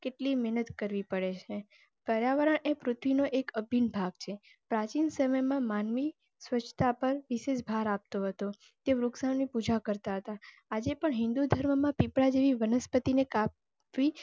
કેટલી મહેનત કરવી પડે? પર્યાવરણ એ પૃથ્વી નો અફીણ ભાગ છે. પ્રાચીન સમય માં માનવી સ્વચતા પર વિશેષ ભાર આપતો તો તે વૃક્ષાને પૂજા કરતા આજે પણ હિંદુ ધરમ માં પીપડા જેવી વનસ્પતિ ને કાપવી